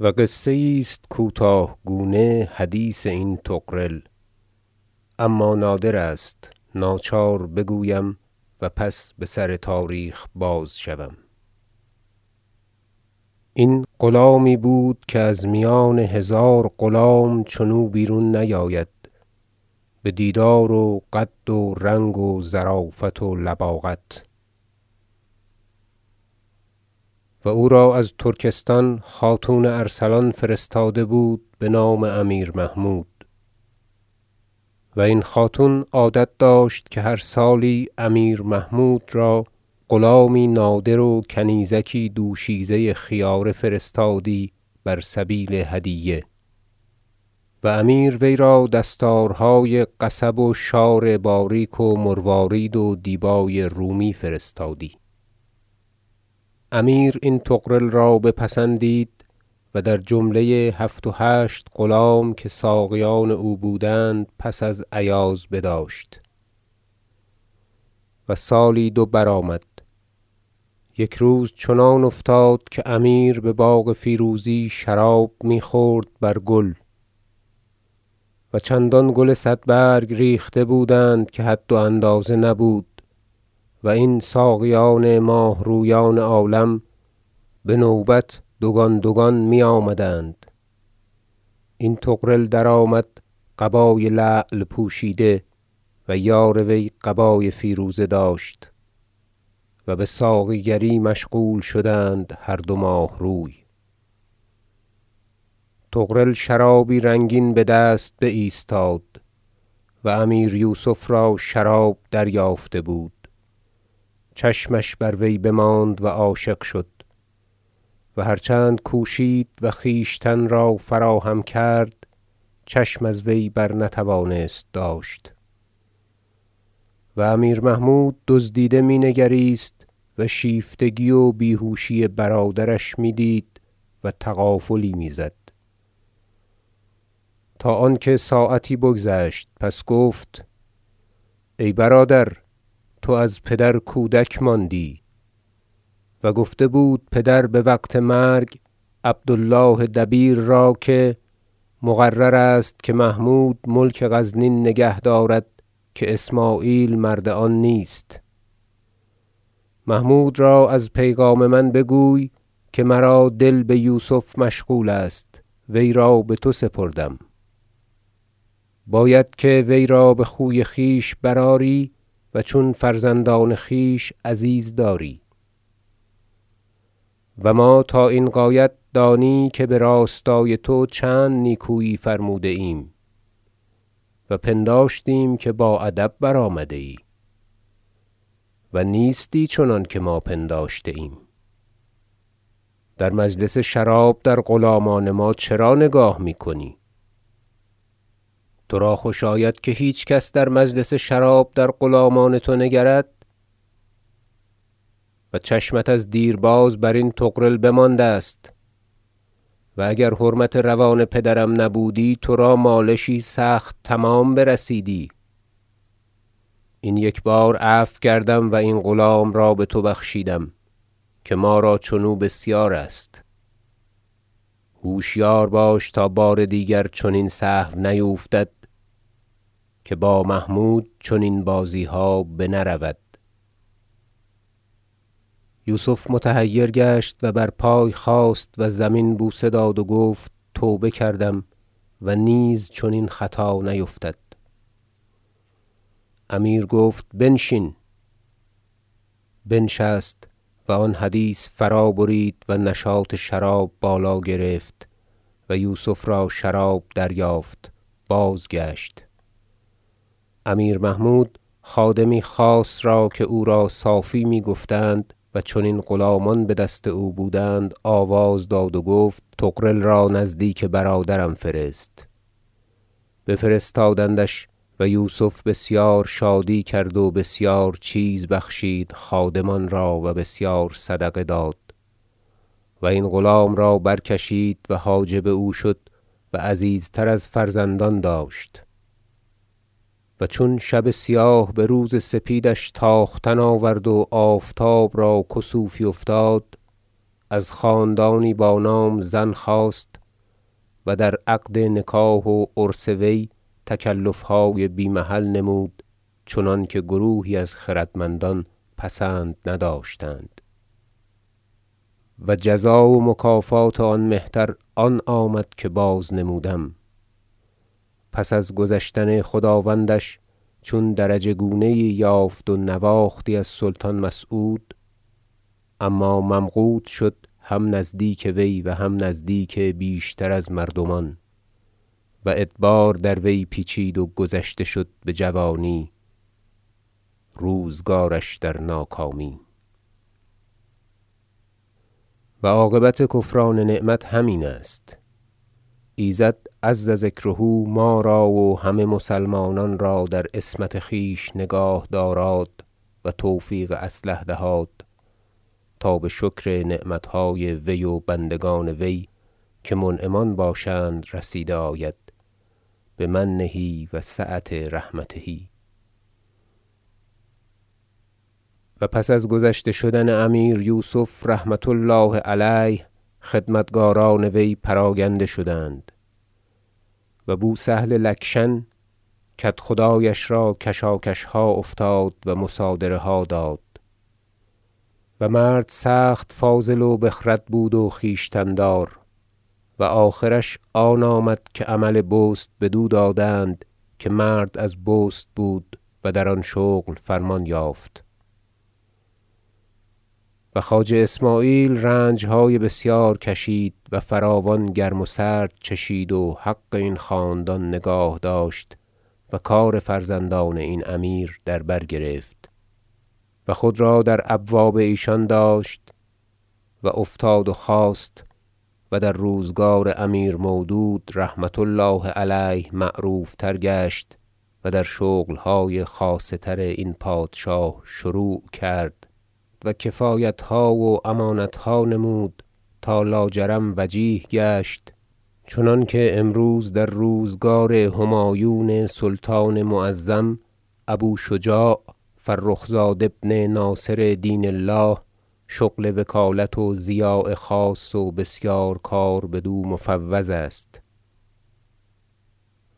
و قصه یی است کوتاه گونه حدیث این طغرل اما نادر است ناچار بگویم و پس بسر تاریخ بازشوم ذکر قصة هذا الغلام طغرل العضدی این غلامی بود که از میان هزار غلام چنو بیرون نیاید بدیدار و قد و رنگ و ظرافت و لباقت و او را از ترکستان خاتون ارسلان فرستاده بود بنام امیر محمود و این خاتون عادت داشت که هر سالی امیر محمود را غلامی نادر و کنیزکی دوشیزه خیاره فرستادی بر سبیل هدیه و امیر وی را دستارهای قصب و شار باریک و مروارید و دیبای رومی فرستادی امیر این طغرل را بپسندید و در جمله هفت و هشت غلام که ساقیان او بودند پس از ایاز بداشت و سالی دو برآمد یک روز چنان افتاد که امیر بباغ فیروزی شراب میخورد بر گل و چندان گل صد برگ ریخته بودند که حد و اندازه نبود و این ساقیان ماه رویان عالم بنوبت دوگان دوگان میآمدند این طغرل درآمد قبای لعل پوشیده و یار وی قبای فیروزه داشت و بساقیگری مشغول شدند هر دو ماهروی طغرل شرابی رنگین بدست بایستاد و امیر یوسف را شراب دریافته بود چشمش بر وی بماند و عاشق شد و هر چند کوشید و خویشتن را فراهم کرد چشم از وی بر نتوانست داشت و امیر محمود دزدیده می نگریست و شیفتگی و بیهوشی برادرش میدید و تغافلی میزد تا آنکه ساعتی بگذشت پس گفت ای برادر تو از پدر کودک ماندی و گفته بود پدر بوقت مرگ عبد الله دبیر را که مقرر است که محمود ملک غزنین نگه دارد که اسمعیل مرد آن نیست محمود را از پیغام من بگوی که مرا دل بیوسف مشغول است وی را بتو سپردم باید که وی را بخوی خویش برآری و چون فرزندان خویش عزیز داری و ما تا این غایت دانی که براستای تو چند نیکویی فرموده ایم و پنداشتیم که با ادب برآمده ای و نیستی چنانکه ما پنداشته ایم در مجلس شراب در غلامان ما چرا نگاه میکنی تو را خوش آید که هیچ کس در مجلس شراب در غلامان تو نگرد و چشمت از دیرباز برین طغرل بمانده است و اگر حرمت روان پدرم نبودی ترا مالشی سخت تمام برسیدی این یک بار عفو کردم و این غلام را بتو بخشیدم که ما را چنو بسیارست هوشیار باش تا بار دیگر چنین سهو نیفتد که با محمود چنین بازیها بنه رود یوسف متحیر گشت و بر پای خاست و زمین بوسه داد و گفت توبه کردم و نیز چنین خطا نیفتد امیر گفت بنشین بنشست و آن حدیث فرا برید و نشاط شراب بالا گرفت و یوسف را شراب دریافت بازگشت امیر محمود خادمی خاص را که او را صافی می گفتند و چنین غلامان بدست او بودند آواز داد و گفت طغرل را نزدیک برادرم فرست بفرستادندش و یوسف بسیار شادی کرد و بسیار چیز بخشید خادمان را و بسیار صدقه داد و این غلام را برکشید و حاجب او شد و عزیزتر از فرزندان داشت و چون شب سیاه بروز سپیدش تاختن آورد و آفتاب را کسوفی افتاد از خاندانی با نام زن خواست و در عقد نکاح و عرس وی تکلفهای بی محل نمود چنانکه گروهی از خردمندان پسند نداشتند و جزا و مکافات آن مهتر آن آمد که بازنمودم پس از گذشتن خداوندش چون درجه گونه یی یافت و نواختی از سلطان مسعود اما ممقوت شد هم نزدیک وی و هم نزدیک بیشتر از مردمان و ادبار در وی پیچید و گذشته شد بجوانی روزگارش در ناکامی و عاقبت کفران نعمت همین است ایزد عز ذکره ما را و همه مسلمانان را در عصمت خویش نگاه داراد و توفیق اصلح دهاد تا بشکر نعمت های وی و بندگان وی که منعمان باشند رسیده آید بمنه و سعة رحمته و پس از گذشته شدن امیر یوسف رحمة الله علیه خدمتکاران وی پراگنده شدند و بوسهل لکشن کدخدایش را کشاکشها افتاد و مصادره ها داد و مرد سخت فاضل و بخرد بود و خویشتن دار و آخرش آن آمد که عمل بست بدو دادند- که مرد از بست بود- و در آن شغل فرمان یافت و خواجه اسمعیل رنجهای بسیار کشید و فراوان گرم و سرد چشید و حق این خاندان نگاه داشت و کار فرزندان این امیر در برگرفت و خود را در ابواب ایشان داشت و افتاد و خاست و در روزگار امیر مودود رحمة الله علیه معروفتر گشت و در شغلهای خاصه تر این پادشاه شروع کرد و کفایتها و امانتها نمود تا لاجرم وجیه گشت چنانکه امروز در روزگار همایون سلطان معظم ابو شجاع فرخ زاد ابن ناصر دین الله شغل وکالت و ضیاع خاص و بسیار کار بدو مفوض است